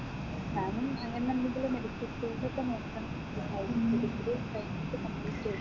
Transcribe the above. ഞാനും അങ്ങനെന്തെങ്കിലും medical field ഒക്കെ നോക്കണം degree complete ചെയ്തിട്ട്